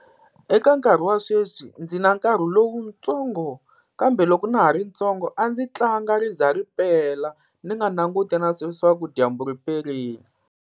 Eka nkarhi wa sweswi ndzi na nkarhi lowutsongo, kambe loko na ha ri ntsongo a ndzi tlanga ri za ri pela ni nga languti na swa leswaku dyambu ri perile.